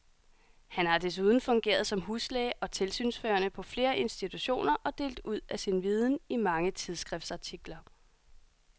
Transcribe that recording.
Han har desuden fungeret som huslæge og tilsynsførende på flere institutioner og delt ud af sin viden i mange tidsskriftsartikler.